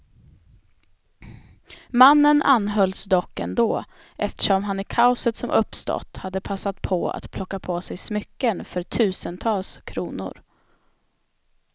Mannen anhölls dock ändå, eftersom han i kaoset som uppstått hade passat på att plocka på sig smycken för tusentals kronor.